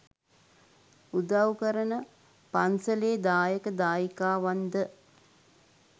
උදව් කරන පන්ස‍ලේ දායක දායිකාවන්ද